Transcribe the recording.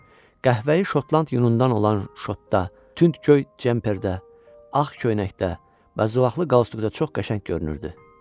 Qəhvəyi Şotland yunundan olan şotda, tünd göy cemperdə, ağ köynəkdə, bəzəklı qalstukda çox qəşəng görünürdü.